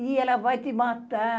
Ih, ela vai te matar.